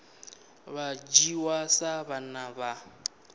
vha dzhiwa sa vhana vha